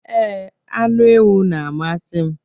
Ee, anụ ewu na-amasị m.